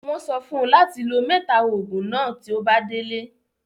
Wọ́n sọ fún ùn láti lò mẹ́ta òògùn náà tí ó bá délé.